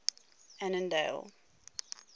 annandale